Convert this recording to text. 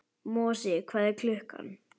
Mosi, hvað er klukkan?